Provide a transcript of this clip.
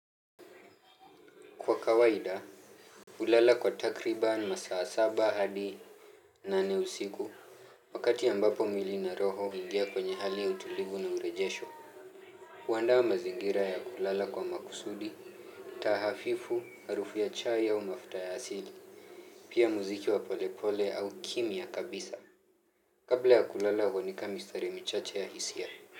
Kwa kawaida, hulala kwa takriban, masaa saba hadi nane usiku, wakati ambapo mwili na roho huingia kwenye hali utulivu na urejesho. Huandaa mazingira ya kulala kwa makusudi, tahafifu, harufu ya chai au mafuta ya asili, pia muziki wa polepole au kimya kabisa. Kabla ya kulala huandika mistari michache ya hisia.